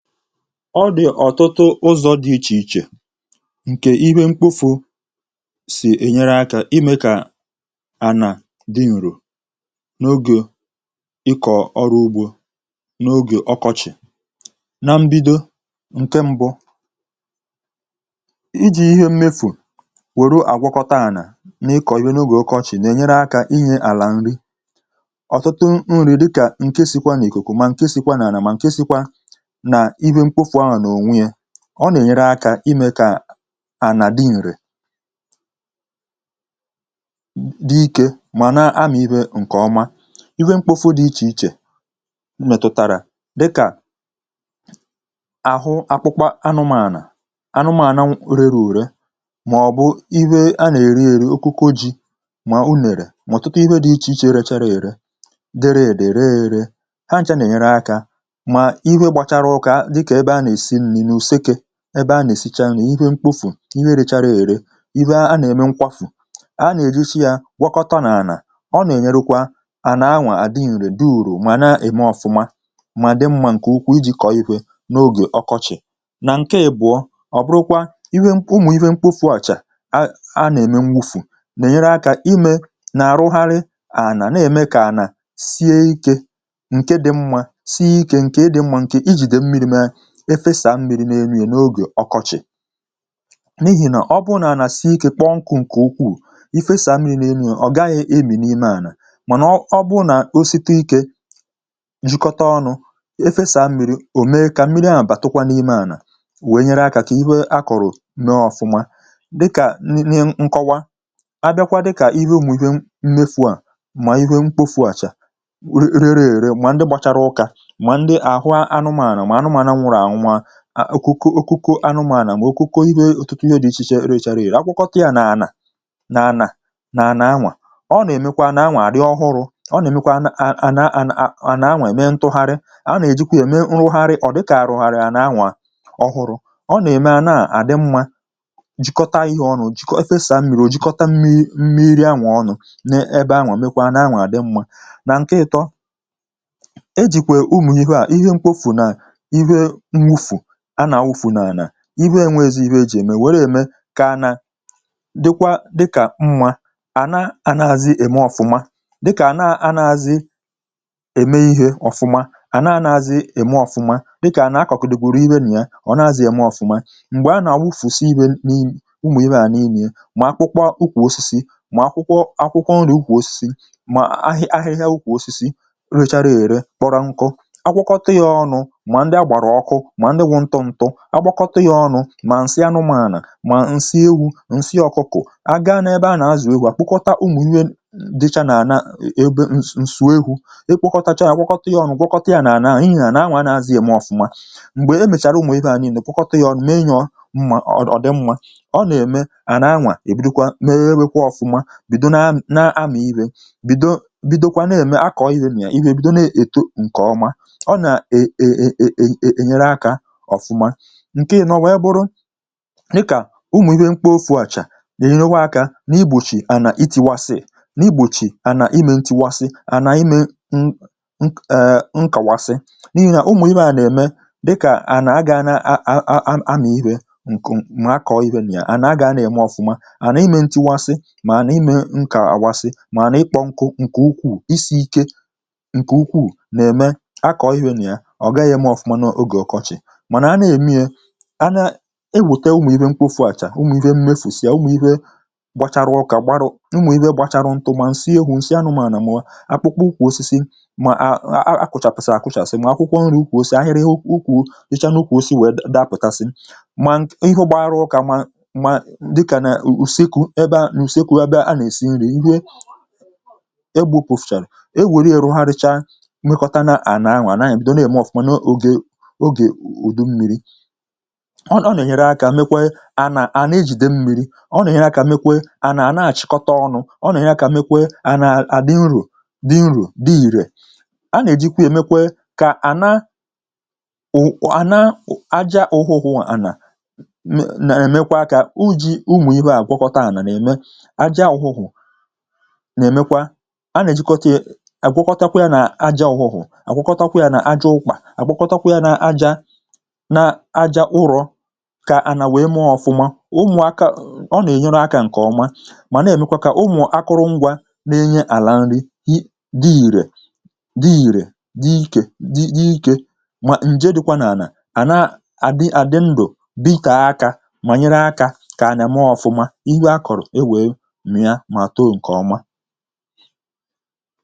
Ọdị ọtụtụ ụzọ dị iche iche nke ihe mkpofu si enyere aka ime ka ana dị nro n'oge ịkọ ọru ugbo n'oge ọkọchị. Na mbido, nke mbụ iji ihe mmefu weru agwọkọta ana n'ịkọ ive n'oge ọkọchị n'enyere aka ịnye ala nri. Ọtụtụ nri dịka nke sikwa n'ikuku má nke sikwa n'ana ma nke sikwa na ihe mkpofu ahụ n'onwe ya, ọ na enyere aka ime ka ana dị nre, dị ike ma na amị ive nke ọma, ive mkpofu dị icheiche metụtara dịka, ahụ akpụkpọ anụmanụ, anụmanụ rere ure ma ọ bụ ive a na_ eri eri okuko ji ma unere ma ọtụtụ ihe dị icheiche rechara ere, dere ede ree eree, ha ncha n'enyere aka ma ive gbachara ụka dịka ebe a na_esi nni n'useke, ebe a n-esicha nni, ihe mkpofu, ihe rechara ere, ive a n-eme nkwafu, a n'ejicha ya gwọkọta n'ana, ọ n-enyerụkwa ana nwaa adị nre dị uru ma na eme ọfụma ma dị mma nke ukwuu iji kọọ ive n'oge ọkọchị. Na nke ịbụọ, ọbụrụkwa ive ụmụ ihe mkpofuacha a n'eme nwufu na-enyere aka ime na-arụgharị ana n'eme ka ana sie ike nke dị mma sie ike nke dị mma nke ijide mmiri ma e fesaa mmiri n'enu ya n'oge ọkọchị n'ihi na ọ bụrụ na ana sie ike kpọ nkụ nke ukwuu, ị fesaa mmiri n'enu ya, ọ gaghị emi n'ime ana mana ọ bụrụ na o situ ike, jikọta ọnụ e fesaa mmiri o mee ka mmiria batụkwa n'ime ana wee nyere aka ka ihe a kọrọ mee ọfụma dịka nni nkọwa, abịakwa dịka ive ụmụ ive mmefua ma ive mkpofuacha rere ere ma ndị gbachara ụka ma ndị ahụ anụmanụ, anụmanụ nwụrụ anwụ, okoko anụmanụ ma okoko ive ọtụtụ ive dị icheiche rechara ere, agwọkọta ya na ana na ananwa, ọ n'emekwa ananwa arị ọhụrụ, ọ n'emekwa ana ana ananwa emee ntụgharị, a na-ejikwa ya mee nrụghari ọ dịka arụgharịrị ananwa ọhụrụ. Ọ n'eme anaa adị mma jikọta ihe ọnụ, efesaa mmiri o jikọta mmiri mmiri anwa ọnụ n'ebe nwa mekwaa ananwa dị mma. Na nke ịtọ, ejikwa ụmụ ivea ihe mkpofu na ive mwufu a na-awufu n'ana, ive enweezi ive eji ha eme were eme ka ana dịkwa dịka mma, ana anaghịzi eme ọfụma, dịka ana anaghịzi eme ihe ọfụma, ana anaghịzi eme ọfụma, dịka ana akọgidere ive na ya, ọnaghizi eme ọfụma, mgbe ana awụfusi ihe ụmụ ivea niile, ma akpụkpọ ukwu osisi, ma akpụkpọ akwụkwọ ukwu osisi ma ahịhịa ukwu osisi rechara ere kpọrọ nkụ, agwọkọta ya ọnụ ma ndị agbara ọkụ ma ndị wụ ntụ ntụ, agwọkọta ya ọnụ ma nsị anụmanụ, ma nsị ewu nsị ọkụkọ, a gaa n'ebe a n'azụ ewu agwọkọta ụmụ ive dịcha n'anaa ebe ụsọekwu, ekpokọtacha ya awụkọta ya ọnụ gwọkọta ya n'anaa ihe ananwa anaghizi eme ọfụma, mgbe emechara ụmụ ifeaa niile gwọkọta ya ọnụ mee ya mma ọ dị mma, ọ n'eme ananwa ebidokwa mebekwa ọfụma, bido na n'amị ive, bidokwa n'eme akọ ive na ya, ive ebido n'eto nke ọma. Ọ na e e e e e enyere aka ọfụma. Nke ịnọ wee bụrụ, dịka ụmụ ive mkpofuacha n'enyekwa aka na-igbochi ana itiwasị, igbochi ana ime ntiwasị, ana ime n n ee, nkawasị n'ihi na ụmụ ivea n'eme dịka ana agana a a amị ive nke ọma ma akọọ ive na ya, ana agaana eme ọfụma, ana ime ntiwasị ma ana ime nkawasị ma ana ịkpọ nkụ nke ukwuu, isi ike nke ukwuu n'eme akọọ ive na ya, ọgaghị eme ọfụma n'oge ọkọchị mana a n'eme ya, a na, eweta ụmụ ive mkpofuacha, ụmụ ive mmefusị, ụmụ ive gbachara ụka, gbarụ ụmụ ive gbacharụ nkụ ma nsị ewu nsị anụmanụ, akwụkwọ ukwu osisi ma akwụchasịrị akwuchasị ma akwụkwo nri ukwu osisi ahịrị sicha n'ukwu osisi wee dapụgasị ma ihe gbara ụka ma dịka na useku ebe useku ebe a esi nri, ihe egbupuchara, eweru ya rụgharịcha mekọtara ananwa ebido n'eme ọfụma n'oge udummiri, ọ na-enyere aka mekwaa ana ana ejide mmiri, ọ na-enyere aka mekwee ana a n'achịkọta ọnụ, ọ na-enye aka mekwee ana adị uru dị ire, a n'ejikwe ya mekwee ka ana, ana aja ụhụhụ ana n'emekwa ka uji ụmụ ivea gwọkọta ana n'eme aja ụhụhụ n'emekwa, a n'ejikọta ya agwọkọta ya na aja ụhụhụ, agwọkọtakwa ya na aja na aja ụrọ ka ana wee mee ọfụma, ụmụaka ọ na-enyere aka nke ọma ma n'emekwa ka ụmụ akụrụngwa n'enye ala nri dị ire dị ire dị ike ma nje dịkwa n'ana a na adị ndụ dị dịtee aka ma n'enye aka ka ana mee ọfụma, ive akọrụ ewee mịa ma too nke ọma